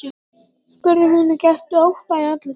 spurði hún og gætti ótta í andlitinu.